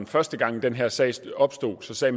første gang den her sag opstod sagde